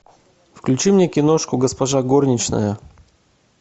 включи мне киношку госпожа горничная